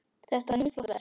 Þetta er mjög flott verk.